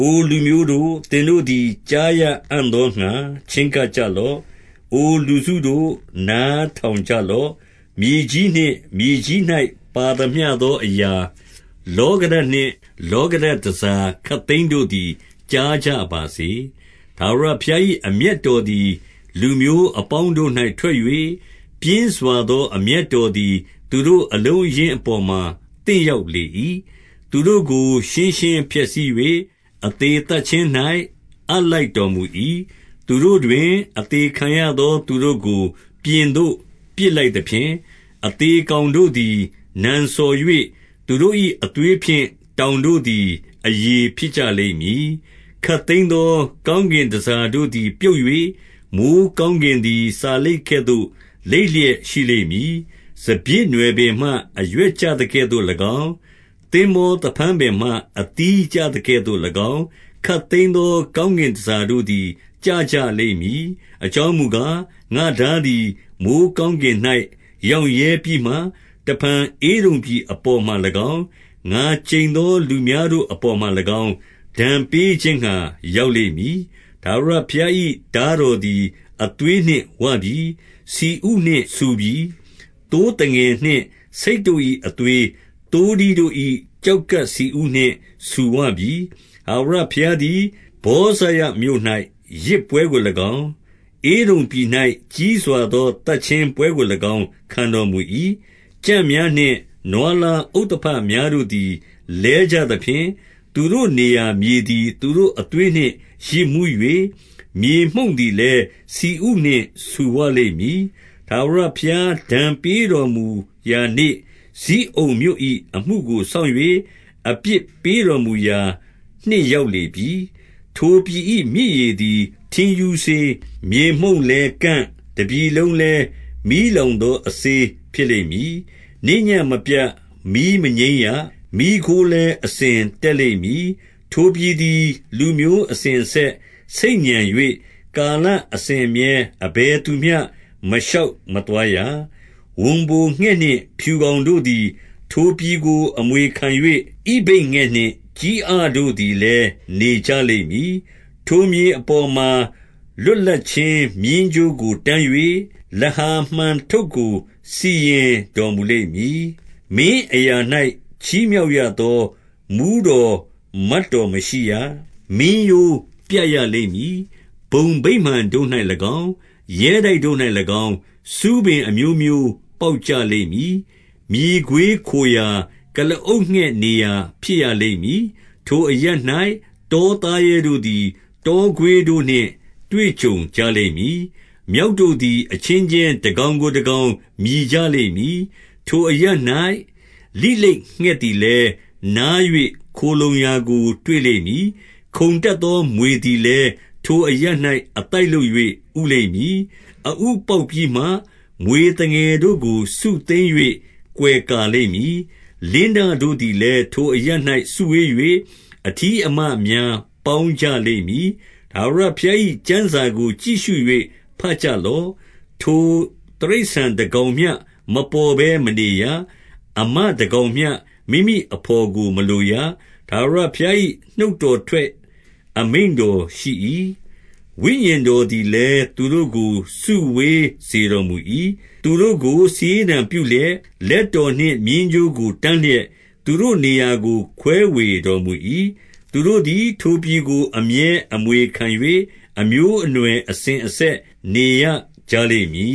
အိုလူမျိုးတို့၊ သင်တို့သည် ကြားရ အံ့သောငှါ ချဉ်းကပ်ကြလော့။ အို လူစုတို့၊ နားထောင်ကြလော့။ မြေကြီးနှင့် မြေကြီး၌ ပါသမျှသော အရာ၊ လောကဓာတ် နှင့် လောကဓာတ် တန်ဆာခပ်သိမ်းတို့သည် ကြားကြပါ စေ။ 2 ထာဝရဘုရား၏ အမျက်တော်သည် လူမျိုးအ ပေါင်းတို့၌ ထွက်၍၊ ပြင်းစွာသောအမျက်တော်သည် သူ တို့အလုံးအရင်းအပေါ်မှာ သင့်ရောက်လေ၏။ သူတို့ကို ရှင်းရှင်းဖျက်ဆီး၍၊ အသေသတ်ခြင်း၌ အပ်လိုက်တော် မူ၏။ 3 သူတို့တွင် အသေခံရသော သူတို့ကို ပြင်သို့ ပစ် လိုက်သဖြင့်၊ အသေကောင်တို့သည် နံစော်၍၊ သူတို့၏ အသွေးဖြင့် တောင်တို့သည် အရည်ဖြစ်ကြလိမ့်မည်။ 4 ခပ်သိမ်းသော ကောင်းကင်တန်ဆာတို့သည် ပြုတ်၍၊ မိုဃ်းကောင်းကင်သည်စာလိပ်ကဲ့သို့ လိပ်လျက် ရှိလိမ့်မည်။ စပျစ်နွယ်ပင်မှ အရွက်ကျသကဲ့သို့၎င်း၊ သင်္ဘောသဖန်းပင်မှ အသီးကျသကဲ့သို့၎င်း၊ ခပ်သိမ်းသော ကောင်းကင်တန်ဆာတို့သည် ကျကြလိမ့်မည်။ 5 အကြောင်းမူကား၊ ငါ့ထားသည် မိုဃ်းကောင်း ကင်၌ ရောင့်ရဲပြီးမှ၊ တဖန် ဧဒုံပြည် အပေါ်မှာ၎င်း၊ ငါ ကျိန်သောလူများတို့အပေါ်မှာ၎င်း၊ ဒဏ်ပေးခြင်းငှါ ရောက်လိမ့်မည်။ 6 ထာဝရဘုရား၏ ထားတော်သည် အသွေးနှင့် ဝပြီ။ ဆီဥနှင့် ဆူပြီ။ သိုးသငယ်နှင့် ဆိတ်တို့၏ အသွေး၊ သိုးထီးတို့၏ ကျောက်ကပ် ဆီဥနှင့် ဆူဝပြီ။ ထာဝရဘုရား သည် ဗောဇရမြို့၌ ယဇ်ပွဲကို၎င်း၊ ဧဒုံပြည်၌ ကြီးစွာသော သတ်ခြင်းပွဲကို၎င်း ခံတော်မူ၏။ 7 ကြံ့များနှင့် နွားလားဥသဘများတို့သည် လဲကြ သဖြင့်၊ သူတို့နေရာမြေသည် သူတို့အသွေးနှင့် ယစ်မူး၍၊ မြေမှုန့်သည်လည်း ဆီဥနှင့် ဆူဝလိမ့်မည်။ 8 ထာဝရဘုရား ဒဏ်ပေးတော်မူရာနေ့၊ ဇိအုန်မြို့ ၏ အမှုကိုစောင့်၍ အပြစ်ပေးတော်မူရာ နှစ်ရောက်လေ ပြီ။ 9 ထိုပြည်၏မြစ်ရေသည် ထင်းရူးစေး၊ မြေမှုန့် လည်းကန့်၊ တပြည်လုံးလည်း မီးလောင်သော အစေးဖြစ် လိမ့်မည်။ 10 နေ့ညဉ့်မပြတ် မီးမငြိမ်းရ။ မီးခိုးလည်း အစဉ် တက်လိမ့်မည်။ ထိုပြည်သည် လူမျိုးအစဉ်အဆက် ဆိတ် ညံ၍၊ ကာလအစဉ်အမြဲ အဘယ်သူမျှ မရှောက်မသွားရ။ 11 ဝံပိုငှက် နှင့် ဖြူကောင်တို့သည် ထိုပြည်ကို အမွေ ခံ၍၊ ဣဗိတ်ငှက် နှင့် ကျီးအတို့သည်လည်း နေကြလိမ့် မည်။ ထိုမြေအပေါ်မှာ လွတ်လပ်ခြင်း မျဉ်းကြိုးကို တန်း ၍၊ လဟာ မှန်ထုပ်ကို စီရင်တော်မူလိမ့်မည်။ 12 မင်းအရာ၌ ချီးမြှောက်ရသော မှူးတော်မတ် တော် မရှိရ။ မင်းရိုးပြတ်ရလိမ့်မည်။ 13 ဘုံဗိမာန်တို့၌၎င်း၊ ရဲတိုက်တို့၌၎င်း၊ ဆူးပင်အ မျိုးမျိုးပေါက်ကြလိမ့်မည်။ မြေခွေးခိုရာ၊ ကုလားအုတ်ငှက် နေရာ ဖြစ်ရလိမ့်မည်။ 14 ထိုအရပ်၌ တောသားရဲတို့သည် တောခွေးတို့ နှင့် တွေ့ကြုံကြလိမ့်မည်။ မျောက်တို့သည် အချင်းချင်း တကောင်ကို တကောင် မြည်ကြလိမ့်မည်။ ထိုအရပ်၌ လိလိတ်ငှက်သည်လည်း နား၍ခိုလှုံရာကို တွေ့လိမ့်မည်။ 15 ခုန်တတ်သော မြွေသည်လည်း၊ ထိုအရပ်၌ အ သိုက်လုပ်၍ ဥလိမ့်မည်။ အဥပေါက်ပြီးမှ မြွေသငယ်တို့ကို စုသိမ်း၍ ကွယ်ကာလိမ့်မည်။ လင်းတတို့သည်လည်း ထို အရပ်၌ စုဝေး၍၊ အထီး အမများ ပေါင်းကြလိမ့်မည်။ 16 ထာဝရဘုရား၏ ကျမ်းစာကို ကြည့်ရှု၍ ဘတ် ကြလော့။ ထိုတိရစ္ဆာန်တကောင်မျှ မပေါ်ဘဲမနေရ။ အမ တကောင်မျှ မိမိအဘော်ကို မလိုရ။ ထာဝရဘုရား၏ နှုတ်တော်ထွက် အမိန့်ရှိ၏။ ဝိညာဉ်တော်သည်လည်း သူ တို့ကို စုဝေးစေတော်မူ၏။ 17 သူတို့ကို စာရေးတံပြုလျက်၊ လက်တော်နှင့် မျဉ်း ကြိုးကို တန်းလျက်၊ သူတို့နေရာကို ခွဲဝေတော်မူ၏။ သူ တို့သည် ထိုပြည်ကို အမြဲအမွေခံ၍၊ အမျိုးအနွယ်အစဉ် အဆက်နေရကြလိမ့်မည